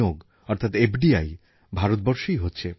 আগামী ১৪ই April doctor Babasaheb আম্বেদকরের জন্মজয়ন্তী